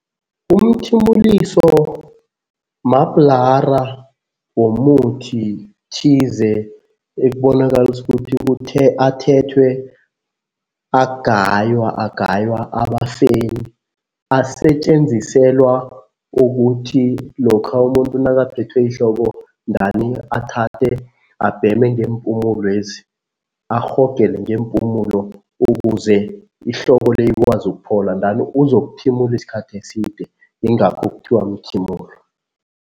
Umthimuliso mabhlara womuthi thize ekubonakalisa ukuthi athethwe agaywa, agaywa aba feyini. Asetjenziselwa ukuthi lokha umuntu nakaphethwe yihloko athathe abheme ngeempumulwezi, arhogele ngeempumulo ukuze ihloko le ikwazi ukuphola uzokuthimula isikhathi eside, yingakho kuthiwa mthimulo.